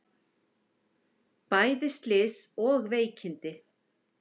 Bæði slys og veikindi